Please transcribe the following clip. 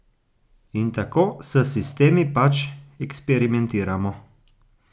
In tako s sistemi pač eksperimentiramo.